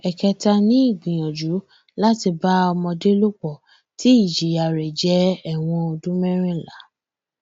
ẹkẹta ni ìgbìyànjú láti bá ọmọdé lò pọ tí ìjìyà rẹ jẹ ẹwọn ọdún mẹrìnlá